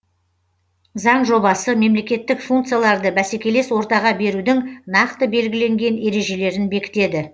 заң жобасы мемлекеттік функцияларды бәсекелес ортаға берудің нақты белгіленген ережелерін бекітеді